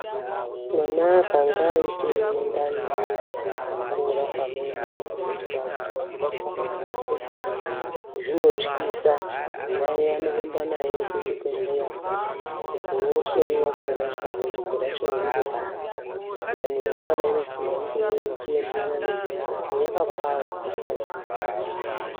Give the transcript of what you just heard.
Mwana akange aita ndani yakakura pane inenge ichitarisirwa pazera rake zvinotyisa. Mai anorumba naye kuchibhedhleya kuti ohloiwa kuona kuti dambudziko racho riri pari. Ndani yemwana inofanirwa ichienderera nezera rake yakapfava isikazi kuomarara.